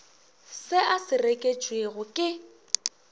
se a se reketšwego ke